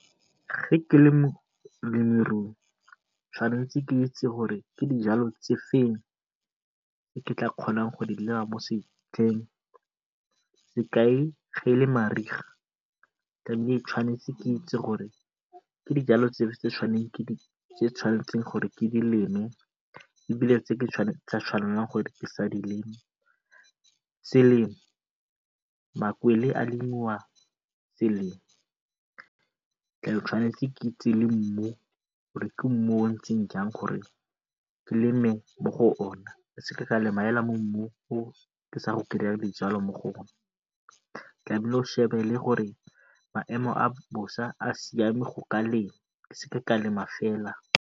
ke le molemirui tshwanetse ke itse gore ke dijalo tse feng tse ke tla kgonang go di sekai e le mariga ke ise gore ke dijalo dife tse tshwanetseng ke dileme e bile tse ke sa tshwanelang gore ke sa di lema. Selemo makwele a lemiwa pele. ke itse le mmu gore ke mmu o o ntseng jang gore ke leme mo go ona ke seke ka lema mo mmung o ke sa go dijalo mo go one. maemo a bosa a siame go ka lema, ke seke ka lema fela.